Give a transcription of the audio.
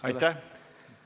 Aitäh!